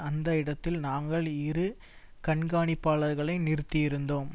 அந்த இடத்தில் நாங்கள் இரு கண்காணிப்பாளர்களை நிறுத்தியிருந்தோம்